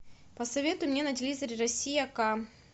посоветуй мне на телевизоре россия ка